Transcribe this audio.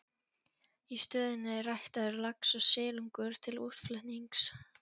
Í stöðinni er ræktaður lax og silungur til útflutnings.